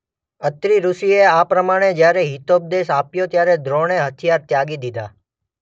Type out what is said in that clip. અત્રિ ઋષિએ આ પ્રમાણે જ્યારે હિતોપદેશ આપ્યો ત્યારે દ્રોણે હથિયાર ત્યાગી દીધા.